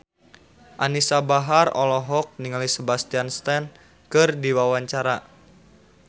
Anisa Bahar olohok ningali Sebastian Stan keur diwawancara